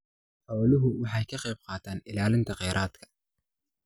Xooluhu waxay ka qaybqaataan ilaalinta kheyraadka.